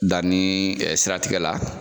Da ni ɛɛ siratigɛ la